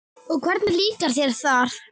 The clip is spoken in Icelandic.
Og hvernig líkar þér þar?